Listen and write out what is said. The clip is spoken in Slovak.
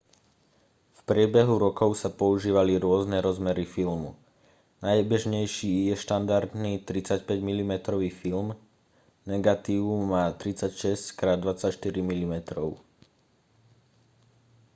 v priebehu rokov sa používali rôzne rozmery filmu. najbežnejší je štandardný 35 mm film negatív má 36x24 mm